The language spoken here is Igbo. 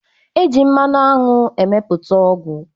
E ji mmanụ aṅụ emepụta ọgwụ.